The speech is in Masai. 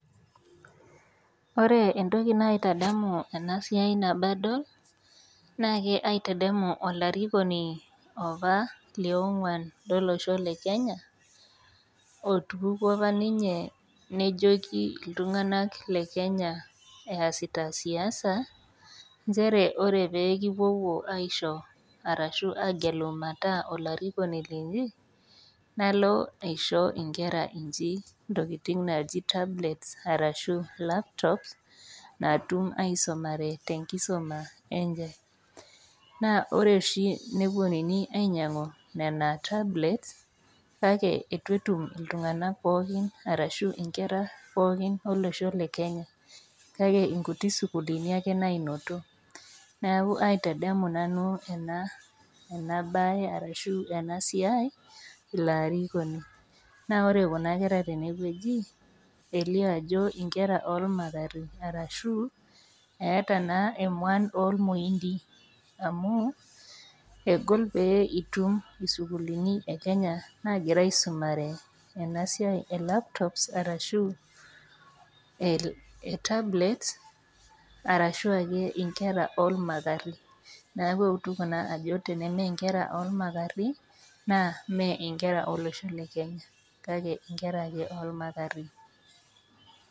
Ore entoki naitadamu ena siai tebadol naa aitadamu olarikoni opa li onguan lo losho le Kenya otupukuo apa ninye nejoki itung'anak le Kenya easita siasa nchere ore pee kipuopuo aisho arashu agelu mataa olarikoni linyi nalo aisho inkere inyi intokitin naa ji tablets arashu laptop naatum aisumare tenkisuma enye naa ore oshi anaa neinyianguni nena tablets neitu etum inkera pooki olosho le Kenya neaku inkutik sukuuluni ake naanotito neaku kaitadamu nanu enabaye arashu ena siai ilarin leilo arikoni naa kore kuna kera tene wueji ilio ajo inkere naata emua olmoindi amu egol pee itum isukuuluni e Kenya naagira aisumare ena siai e laptop arashu kuna tablets neaku eutu ajo inkere oolmapari naa imee inkera olosho le Kenya kake ingera ake olmapari